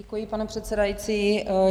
Děkuji, pane předsedající.